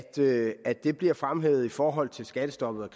det at det bliver fremhævet i forhold til skattestoppet